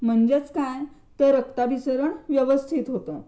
म्हणजे काय तर रक्ताभिसरण व्यवस्थित होतं